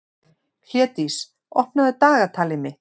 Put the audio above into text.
Hlédís, opnaðu dagatalið mitt.